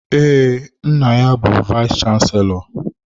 Ee, nna ya bu vayis chansilọ.